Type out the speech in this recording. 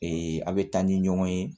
a bɛ taa ni ɲɔgɔn ye